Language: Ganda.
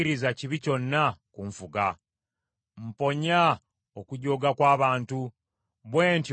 Mponya okujooga kw’abantu, bwe ntyo nkwatenga ebiragiro byo.